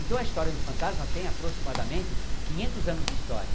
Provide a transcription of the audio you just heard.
Então a história do fantasma tem aproximadamente quinhentos anos de história.